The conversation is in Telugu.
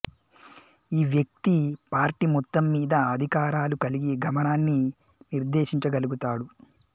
ఈ వ్యక్తి పార్టీ మొత్తంమీద అధికారాలు కలిగి గమనాన్ని నిర్దేశించగలుగుతాడు